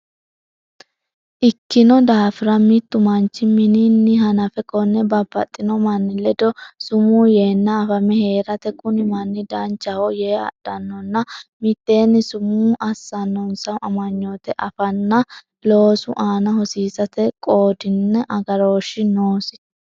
ikkino daafira, mittu manchi min- inni hanafe konne babbaxxino manni ledo sumuu yeenna afame hee’rate kuni manni danchaho yee adhannonna mitteenni sumuu assannonsa amanyoote afanna loosu aana hosiisate qoodinna agarooshshi noosi.